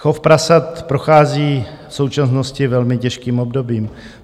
Chov prasat prochází v současnosti velmi těžkým obdobím.